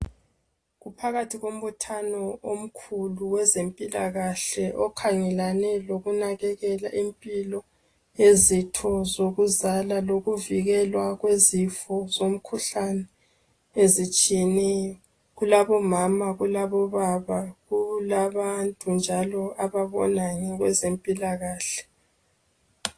Kuphakathi kombuthano omkhulu wezempilakahle okhangelane lokunake impilo izitho zokuzala lokuvikelwa kwezifo zomkhuhlane ezitshiyeneyo kulabomama kulabo baba kulabantu njalo ababona ngezempilakahle.